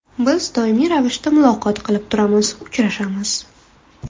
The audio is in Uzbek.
Biz doimiy ravishda muloqot qilib turamiz, uchrashamiz.